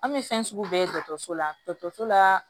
An bɛ fɛn sugu bɛɛ ye dɔgɔtɔrɔso la dɔgɔtɔrɔso la